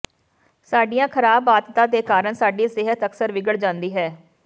ਸਾਡੀਆਂ ਖਰਾਬ ਆਦਤਾਂ ਦੇ ਕਾਰਨ ਸਾਡੀ ਸਿਹਤ ਅਕਸਰ ਵਿਗੜ ਜਾਂਦੀ ਹੈ